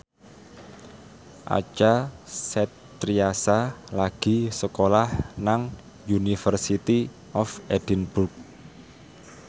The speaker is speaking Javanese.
Acha Septriasa lagi sekolah nang University of Edinburgh